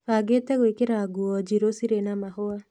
Bangĩte gwĩkĩra nguo njirũ cirĩ na mahũa.